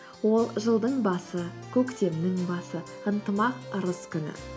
ол жылдың басы көктемнің басы ынтымақ ырыс күні